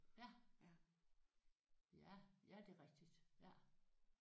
Ja ja ja det er rigtigt ja